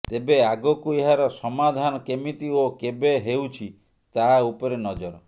ତେବେ ଆଗକୁ ଏହାର ସମାଧାନ କେମିତି ଓ କେବେ ହେଉଛି ତାହା ଉପରେ ନଜର